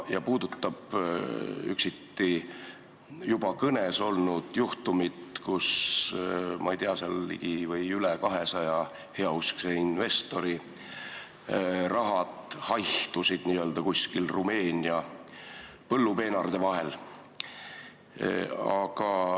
See puudutab üksiti juba kõne all olnud juhtumit, kui, ma ei tea, ligi või üle 200 heauskse investori raha haihtus kuskil Rumeenia põllupeenarde vahel.